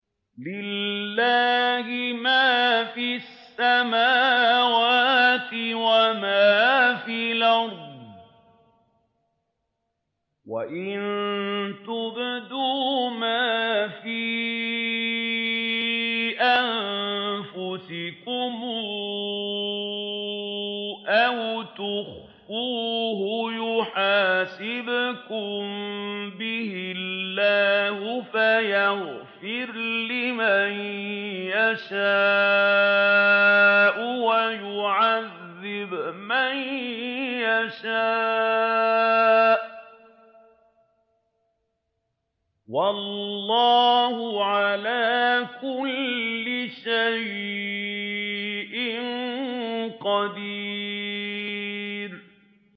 لِّلَّهِ مَا فِي السَّمَاوَاتِ وَمَا فِي الْأَرْضِ ۗ وَإِن تُبْدُوا مَا فِي أَنفُسِكُمْ أَوْ تُخْفُوهُ يُحَاسِبْكُم بِهِ اللَّهُ ۖ فَيَغْفِرُ لِمَن يَشَاءُ وَيُعَذِّبُ مَن يَشَاءُ ۗ وَاللَّهُ عَلَىٰ كُلِّ شَيْءٍ قَدِيرٌ